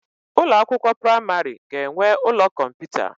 Ụlọ akwụkwọ praimari ga-enwe ụlọ kọmputa.